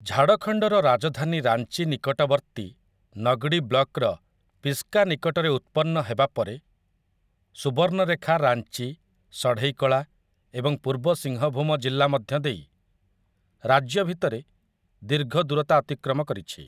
ଝାଡ଼ଖଣ୍ଡର ରାଜଧାନୀ ରାଞ୍ଚି ନିକଟବର୍ତ୍ତୀ ନଗ୍‌ଡ଼ି ବ୍ଲକର ପିସ୍କା ନିକଟରେ ଉତ୍ପନ୍ନ ହେବା ପରେ, ସୁବର୍ଣ୍ଣରେଖା ରାଞ୍ଚି, ସଢ଼େଇକଳା ଏବଂ ପୂର୍ବ ସିଂହଭୂମ ଜିଲ୍ଲା ମଧ୍ୟ ଦେଇ ରାଜ୍ୟ ଭିତରେ ଦୀର୍ଘ ଦୂରତା ଅତିକ୍ରମ କରିଛି ।